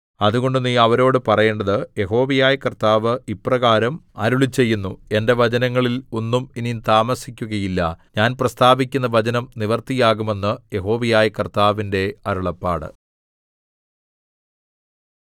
അതുകൊണ്ട് നീ അവരോടു പറയേണ്ടത് യഹോവയായ കർത്താവ് ഇപ്രകാരം അരുളിച്ചെയ്യുന്നു എന്റെ വചനങ്ങളിൽ ഒന്നും ഇനി താമസിക്കുകയില്ല ഞാൻ പ്രസ്താവിക്കുന്ന വചനം നിവൃത്തിയാകും എന്ന് യഹോവയായ കർത്താവിന്റെ അരുളപ്പാട്